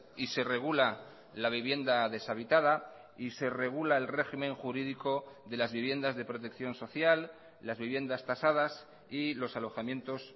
y se regula la vivienda deshabitada y se regula el régimen jurídico de las viviendas de protección social las viviendas tasadas y los alojamientos